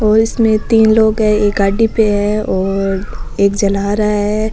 और इसमें तीन लोग है और एक गाड़ी पे है और एक झला रा है।